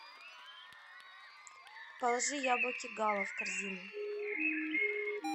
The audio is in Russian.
положи яблоки гала в корзину